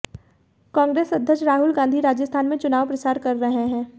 कांग्रेस अध्यक्ष राहुल गांधी राजस्थान में चुनाव प्रचार कर रहे हैं